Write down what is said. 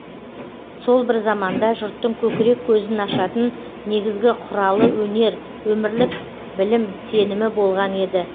сол бір заманда жұрттың көкірек көзін ашатын негізгі құралы өнер өмірлік білім сенімі болған еді